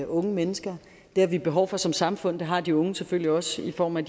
unge mennesker det har vi behov for som samfund og det har de unge selvfølgelig også i form af